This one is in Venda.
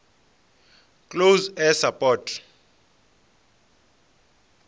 close air support